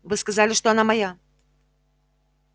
вы сказали что она моя